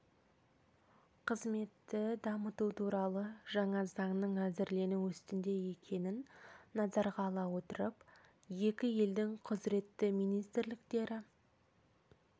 қызметті дамыту туралы жаңа заңның әзірлену үстінде екенін назарға ала отырып екі елдің құзыретті министрліктері